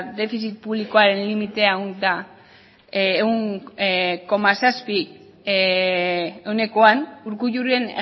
defizit publikoaren limitea urkulluren